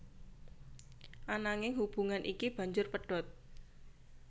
Ananging hubungan iki banjur pedhot